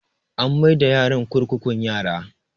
An mai da yaron kurkukun yara